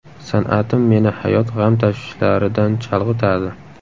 San’atim meni hayot g‘am tashvishlaridan chalg‘itadi.